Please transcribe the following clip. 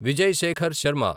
Vijay Shekhar Sharma